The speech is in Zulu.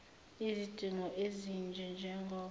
izidingo ezinje njengoba